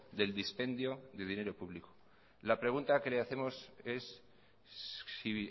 del dispendio de dinero público la pregunta que le hacemos es si